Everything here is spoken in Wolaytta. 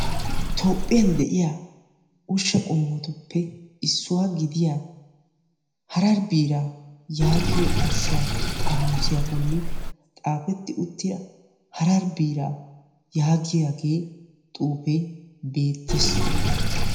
Toophiyan de'iyaa ushsha qommotuppe issuwa gidiya harar biira bolla harar biira yaagiya xuufe beettes.